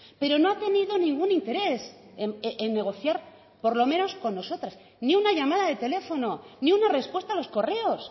pero no ha tenido ningún interés en negociar por lo menos con nosotras ni una llamada de teléfono ni una respuesta a los correos